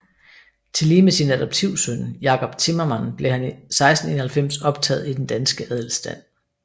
Tillige med sin adoptivsøn Jacob Timmermand blev han 1691 optaget i den danske adelstand